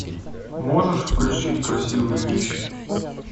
можешь включить красивые вещи